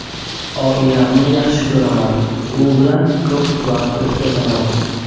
Oilamni yaxshi ko‘raman, u bilan ko‘p vaqt o‘tkazaman.